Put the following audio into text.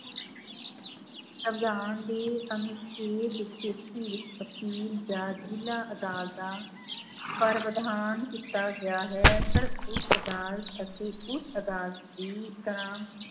ਸਵਿਧਾਨ ਦੇ ਅਨੁਛੇਦ ਤੇਤੀ ਵਿੱਚ ਅਪੀਲ ਜਾਂ ਜ਼ਿਲ੍ਹਾ ਅਦਾਲਤਾਂ ਪਰ ਵਿਧਾਨ ਕੀਤਾ ਗਿਆ ਹੈ ਪਰ ਉੱਚ ਅਦਾਲਤ ਅਤੇ ਉੱਚ ਅਦਾਲਤ ਦੀ ਤਰ੍ਹਾਂ